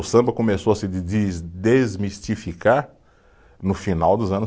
O samba começou a se de desmistificar no final dos anos